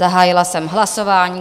Zahájila jsem hlasování.